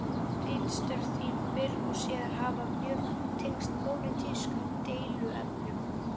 Ritstörf þín fyrr og síðar hafa mjög tengst pólitískum deiluefnum.